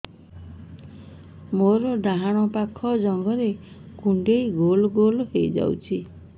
ମୋର ଡାହାଣ ପାଖ ଜଙ୍ଘରେ କୁଣ୍ଡେଇ ଗୋଲ ଗୋଲ ହେଇଯାଉଛି